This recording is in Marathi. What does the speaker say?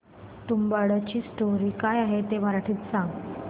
तुंबाडची स्टोरी काय आहे ते मराठीत सांग